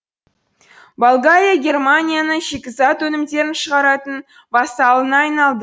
болгария германияның шикізат өнімдерін шығаратын вассалына айналды